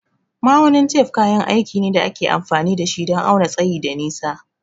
Ma'aunin tef kayan aiki ne da ake amfani da shi don auna tsayi da nisa.